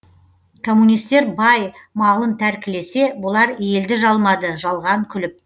коммунистер бай малын тәркілесе бұлар елді жалмады жалған күліп